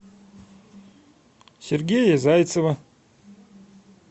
сергея зайцева